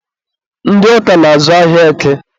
ndị Ọka na-azụ ahịa Eke.